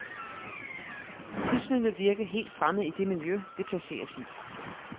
Prismet vil virke helt fremmed i det miljø, det placeres i.